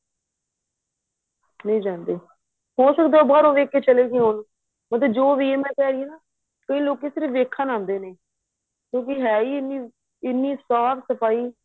ਨਹੀਂ ਜਾਂਦੇ ਹੋ ਸਕਦਾ ਏ ਉਹ ਬਹਾਰੋ ਦੇਖਕੇ ਚੱਲੇ ਗਏ ਹੋਣ ਉਥੇ ਕਈ ਲੋਕੀ ਸਿਰਫ਼ ਵੇਖਣ ਆਦੇ ਨੇ ਕਿਉਂਕਿ ਏਹ ਹੀ ਇੰਨੀ ਇੰਨੀ ਸਾਫ਼ ਸਫਾਈ